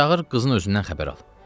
Çağır qızın özündən xəbər al.